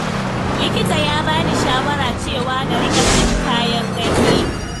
Likita ya ba ni shawara cewa na riƙa cin kayan ganye.